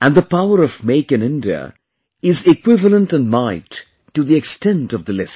and the power of Make In India is equivalent in might to the extent of the list